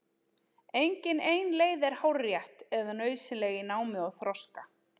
Engin ein leið er hárrétt eða nauðsynleg í námi og þroska.